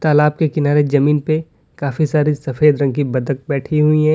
तालाब के किनारे जमीन पे काफी सारे सफेद रंग की बत्तख बैठी हुई है।